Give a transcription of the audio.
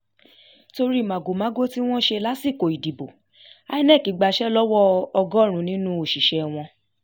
torí màgòmágó tí wọ́n ṣe lásìkò ìdìbò inec gbàṣẹ lọ́wọ́ ọgọ́rùn-ún nínú òṣìṣẹ́ wọn